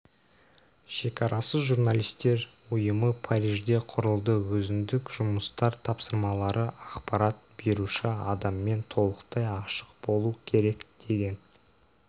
шекарасыз журналистер ұйымы парижде құрылды өзіндік жұмыстар тапсырмалары ақпарат беруші адаммен толықтай ашық болу керек деген